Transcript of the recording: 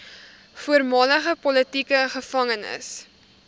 voormalige politieke gevangenes